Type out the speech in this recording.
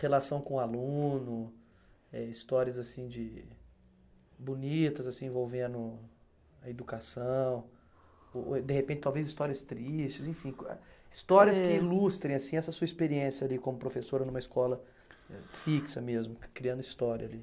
Relação com aluno, eh histórias assim de, bonitas assim envolvendo a educação, o ou de repente, talvez histórias tristes, enfim, co histórias que ilustrem assim essa sua experiência de como professora numa escola eh fixa mesmo, criando história ali.